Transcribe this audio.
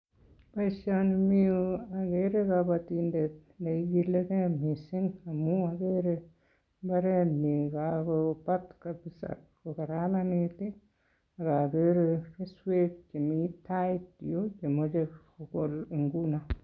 Boisioni mi yu agere kabatindet neigilegei missing amu agere mbaret nyi kagobat kabisa kokararanit ii, ak agere keswek chemi tait yun chemoche kogol inguno.